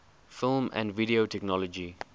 film and video technology